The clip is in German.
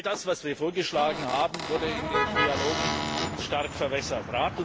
All das, was wir vorgeschlagen haben, wurde in den Trilogen stark verwässert.